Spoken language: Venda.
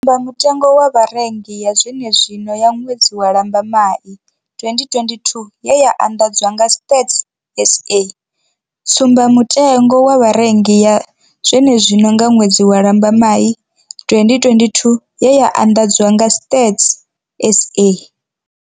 Mutengo wa vharengi ya zwenezwino ya ṅwedzi wa Lambamai 2022 ye ya anḓadzwa nga Stats SA. Tsumbamutengo wa vharengi ya zwenezwino ya ṅwedzi wa Lambamai 2022 ye ya anḓadzwa nga Stats SA.